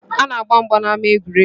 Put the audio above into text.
A na-agba mgba n’ama egwuregwu